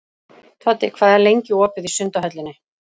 Toddi, hvað er lengi opið í Sundhöllinni?